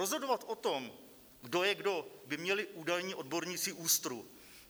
Rozhodovat o tom, kdo je kdo, by měli údajní odborníci ÚSTRu.